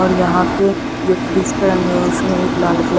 और यहां पे जो फ्रिज का रंग है उसमें एक लाल कलर --